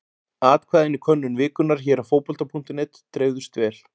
Atkvæðin í könnun vikunnar hér á Fótbolta.net dreifðust vel.